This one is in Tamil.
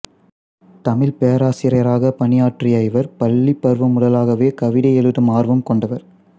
தமிழ்ப் பேராசிரியராகப் பணியாற்றிய இவர் பள்ளிப் பருவம் முதலாகவே கவிதை எழுதும் ஆர்வம் கொண்டவர்